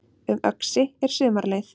Um Öxi er sumarleið